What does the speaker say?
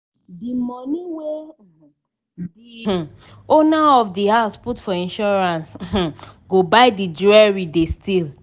di money wey um di um owner of di house put for insurance um go buy di jewelry they steal.